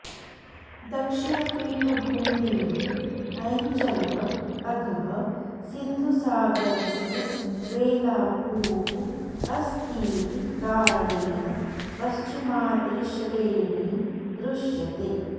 दक्षिणपीठभूमेः अञ्चलः अधः सिन्धुसागस्य वेलाभूः अस्तीति कारणेन पश्चिमाद्रिश्रेणी दृश्यते